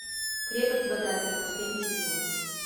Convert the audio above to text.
крепость бадабер последний сезон